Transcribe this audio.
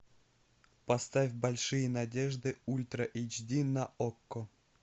поставь большие надежды ультра эйч ди на окко